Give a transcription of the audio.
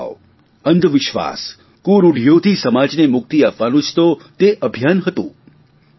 ભેદભાવ અંધવિશ્વાસ કુરૂઢીઓથી સમાજને મુક્તિ અપાવવાનું જ તો તે અભિયાન હતું